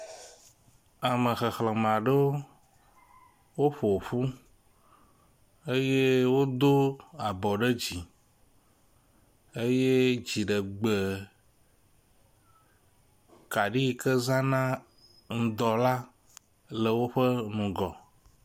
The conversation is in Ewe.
Ame xexlẽme aɖewo ƒoƒu eye wodo abɔ ɖe dzi eye dziɖegbekaɖi yi ke zãna ŋdɔ la le woƒe ŋgɔ.